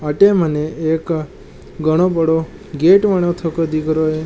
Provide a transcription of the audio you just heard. अटे मने एक घणो बड़ो गेट बनो थको दिख रहा है।